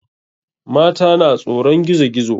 Mata na tsoron gizo gizo.